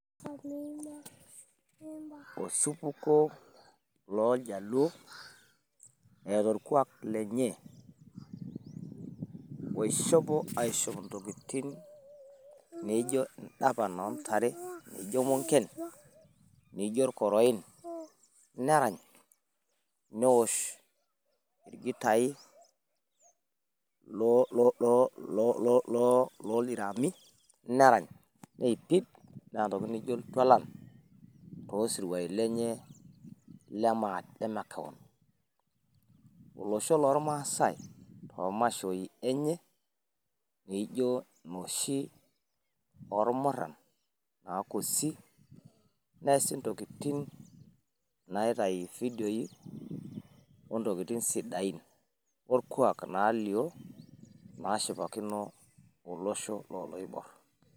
Osupuko looljaluo eeta olkuak lenye, osihopo aishop ntokitin naijo indapan oontare, naijo munken, naijo ilkoroin, nerany, newosh ilgitai looldiraami, nerany neipid neeta ntokitin naijo iltualan toosiruaI lenye lemakeon. Olosho lolmaasai toomashoi enye, nijo noshi oolmurran naakusi, neasi ntokitin naitayu fidio ontokitin sidain olkuak naaliyio naashipakino olosho looloiborr.